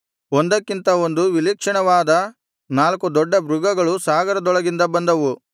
ಒಂದಕ್ಕಿಂತ ಒಂದು ವಿಲಕ್ಷಣವಾದ ನಾಲ್ಕು ದೊಡ್ಡ ಮೃಗಗಳು ಸಾಗರದೊಳಗಿಂದ ಬಂದವು